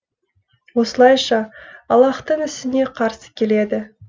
осылайша аллаһтың ісіне қарсы келеді